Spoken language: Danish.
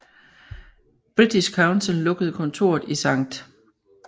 British Council lukkede kontoret i Skt